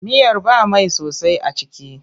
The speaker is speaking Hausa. Miyar ba mai sosai a ciki.